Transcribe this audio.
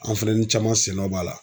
An fɛn ni caman sen dɔ b'a la